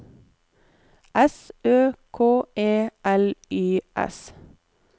S Ø K E L Y S